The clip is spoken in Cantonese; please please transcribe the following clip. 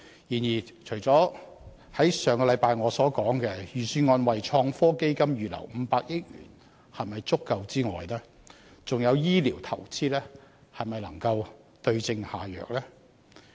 然而，除了我上周所提出，預算案為創新科技預留500億元是否足夠的問題外，醫療投資能否對症下藥？